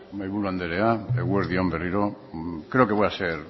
mahaiburu andrea eguerdi on berriro creo que voy a ser